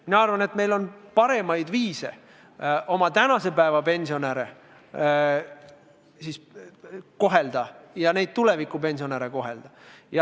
Mina arvan, et on paremaid viise tänaseid pensionäre ja tulevasi pensionäre kohelda.